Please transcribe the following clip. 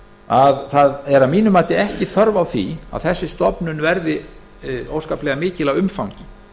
að ekki er að mínu mati þörf á því að þessi stofnun verði óskaplega mikil að umfangi